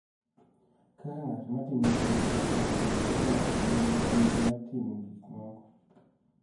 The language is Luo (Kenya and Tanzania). Kaka ng�at ma timo gik moko kendo kaka ng�at ma nigi ting� mar timo gik moko